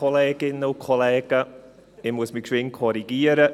Ich muss mich korrigieren: